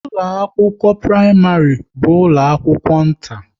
ụlọ akwụkwọ praịmarị bu ụlọ akwụkwọ nta